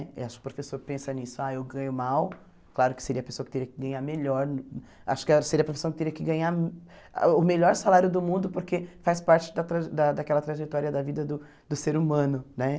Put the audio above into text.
Eu acho que o professor pensa nisso, ah, eu ganho mal, claro que seria a pessoa que teria que ganhar melhor, acho que seria a pessoa que teria que ganhar o melhor salário do mundo, porque faz parte da traje da daquela trajetória da vida do do ser humano, né?